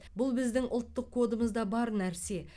бұл біздің ұлттық кодымызда бар нәрсе